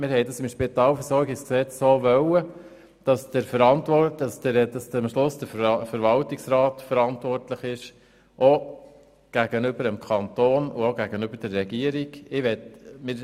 Wir haben im Spitalversorgungsgesetz beschlossen, dass am Schluss der Verwaltungsrat, auch dem Kanton und der Regierung gegenüber, verantwortlich ist.